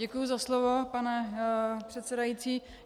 Děkuju za slovo, pane předsedající.